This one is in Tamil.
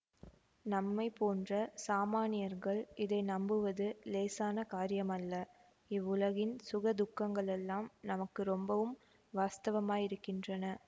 நம்மை போன்ற சாமான்யர்கள் இதை நம்புவது இலேசான காரியமல்ல இவ்வுலகின் சுக துக்கங்களெல்லாம் நமக்கு ரொம்பவும் வாஸ்தவமாயிருக்கின்றன